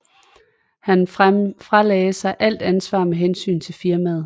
Han fralagde sig al ansvar med hensyn til firmaet